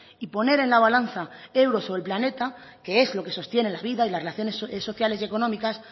y poner en la balanza euros o el planeta que es lo que sostiene la vida y las relaciones sociales y económicas